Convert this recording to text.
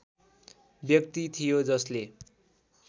व्यक्ति थियो जसले